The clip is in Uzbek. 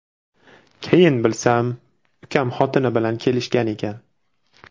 Keyin bilsam, ukam xotini bilan kelishgan ekan.